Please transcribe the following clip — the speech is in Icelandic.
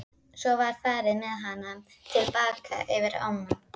Svo var farið með hana til baka yfir ána.